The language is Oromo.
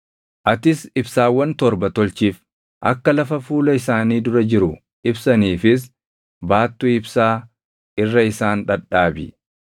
“Atis ibsaawwan torba tolchiif; akka lafa fuula isaanii dura jiru ibsaniifis baattuu ibsaa irra isaan dhadhaabi.